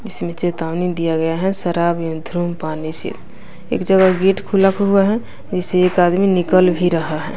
इसमें चेतावनी दिया गया है शराब एक जगह गेट खुला हुआ है इससे एक आदमी निकल भी रहा है।